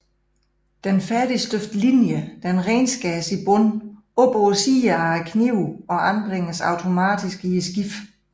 Den færdigstøbte linje renskæres i bund op på sider af knive og anbringes automatisk i skibet